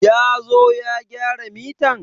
Ya zo ya gyara mitan?